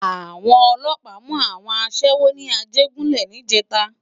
Awòn òlòpá mú áwòn aṣèwó ni Ajegunle nijètá